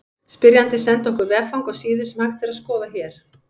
Spyrjandi sendi okkur veffang á síðu sem hægt er að skoða hér.